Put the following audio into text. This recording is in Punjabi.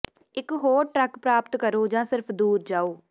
ਇੱਕ ਹੋਰ ਟਰੱਕ ਪ੍ਰਾਪਤ ਕਰੋ ਜਾਂ ਸਿਰਫ ਦੂਰ ਜਾਓ